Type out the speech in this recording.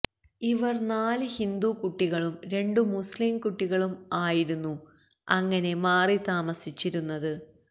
ഇവർ നാല് ഹിന്ദു കുട്ടികളും രണ്ടു മുസ്ളീം കുട്ടികളും ആയിരുന്നു അങ്ങനെ മാറി താമസിച്ചിരുന്നത്